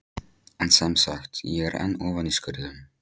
En semsagt: ég er enn ofan í skurðum.